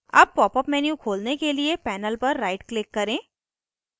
अब pop up menu खोलने के लिए panel पर right click करें